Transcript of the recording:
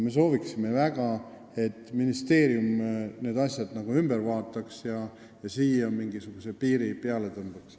Me sooviksime väga, et ministeerium need asjad üle vaataks ja siia mingisuguse piiri tõmbaks.